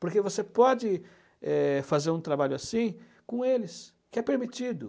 Porque você pode é fazer um trabalho assim com eles, que é permitido.